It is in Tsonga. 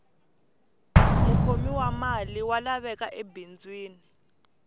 mukhomi wa mali wa laveka ebindzwini